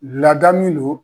Laada min don